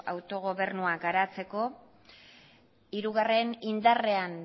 autogobernua garatzeko hirugarrena indarrean